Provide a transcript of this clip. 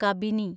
Kabini